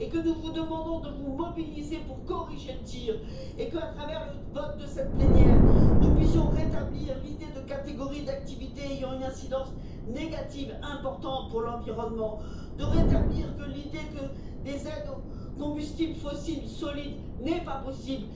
Aussi, nous vous demandons de vous mobiliser pour corriger le tir et pour que, à travers le vote de cette plénière, nous puissions rétablir l'idée de catégories d'activités ayant une incidence négative importante pour l'environnement et rétablir l'idée que des aides aux combustibles fossiles solides ne sont pas possibles.